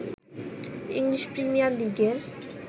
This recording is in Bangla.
ইংলিশ প্রিমিয়ার লিগের